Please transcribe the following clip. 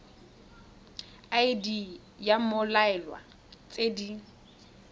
id ya mmoelwa tse di